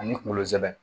Ani kunkolo zɛmɛ